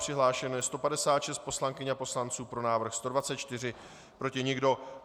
Přihlášeno je 156 poslankyň a poslanců, pro návrh 124, proti nikdo.